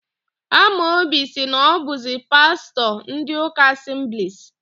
Amobi sị na ọ bụzi pastọ ndị ụka Asemblis.